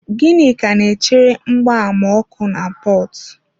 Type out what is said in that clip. Ginika na-echere mgbama ọkụ na Port.